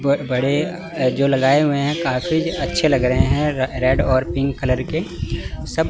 बहोत लगाए हुए हैं काफी अच्छे लग रहे हैं रेड और पिंक कलर के सब--